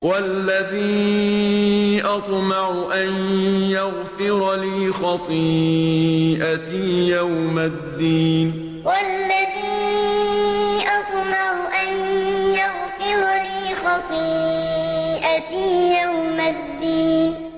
وَالَّذِي أَطْمَعُ أَن يَغْفِرَ لِي خَطِيئَتِي يَوْمَ الدِّينِ وَالَّذِي أَطْمَعُ أَن يَغْفِرَ لِي خَطِيئَتِي يَوْمَ الدِّينِ